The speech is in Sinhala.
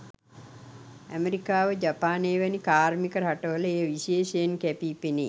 ඇමෙරිකාව ජපානය වැනි කාර්මික රටවල එය විශේෂයෙන් කැපී පෙනේ.